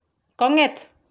kong'et'.